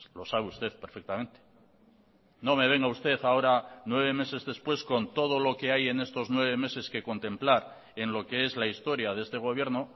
lo sabe usted perfectamente no me venga usted ahora nueve meses después con todo lo que hay en estos nueve meses que contemplar en lo que es la historia de este gobierno